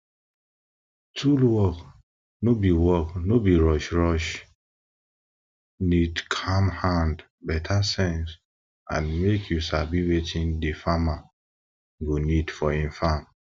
tool work no work no be rushrushe need calm hand beta sense and make you sabi wetin de farmer go need for e farm